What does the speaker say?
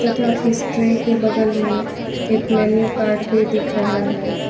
तथा इस ट्रे के बगल में एक मेनू कार्ड भी दिख रहा है।